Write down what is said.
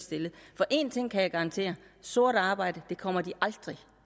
for en ting kan jeg garantere sort arbejde kommer de aldrig